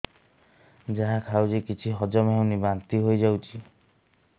ଯାହା ଖାଉଛି କିଛି ହଜମ ହେଉନି ବାନ୍ତି ହୋଇଯାଉଛି